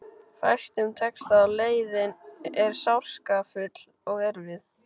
Fæstum tekst það og leiðin er sársaukafull og erfið.